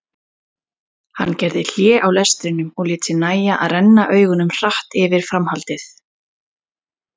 Hann gerði hlé á lestrinum og lét sér nægja að renna augunum hratt yfir framhaldið.